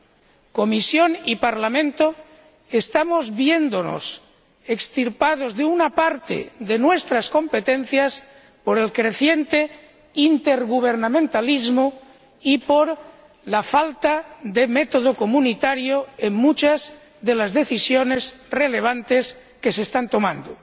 La Comisión y el Parlamento estamos viendo extirpadas una parte de nuestras competencias por el creciente intergubernamentalismo y por la falta de método comunitario en muchas de las decisiones relevantes que se están tomando.